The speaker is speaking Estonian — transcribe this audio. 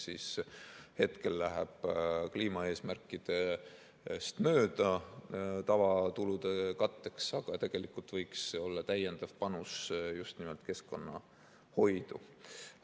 See hetkel läheb kliimaeesmärkidest mööda tavakulude katteks, aga tegelikult võiks see olla täiendav panus just nimelt keskkonnahoidu.